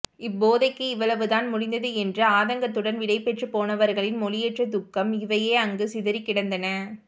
இப்போதைக்கு இவ்வளவு தான் முடிந்தது என்று ஆதங்கத்துடன் விடைபெற்று போனவர்களின் மொழியற்ற துக்கம் இவையே அங்கு சிதறிக் கிடந்தன